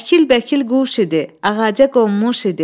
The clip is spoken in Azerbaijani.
Əkil-bəkil quş idi, ağaca qonmuş idi.